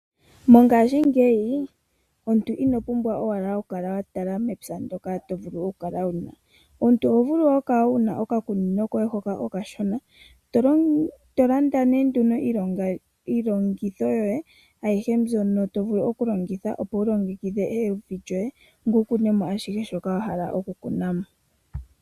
Mongashingeyi omuntu ino pumbwa owala oku kala wa tala mepya ndyoka to vulu oku kala wuna. Omuntu oho vulu oku kala wuna okakunino koye hoka okashona to landa nduno iilongitho yoye ayihe mbyono to vulu okulongitha opo wu longekidhe evi lyoye, ngoye wu kunemo ashihe shoka wa hala okukuna mo.